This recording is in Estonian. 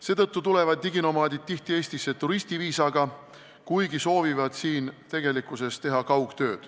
Seetõttu tulevad diginomaadid tihti Eestisse turistiviisaga, kuigi tegelikult soovivad siin kaugtööd teha.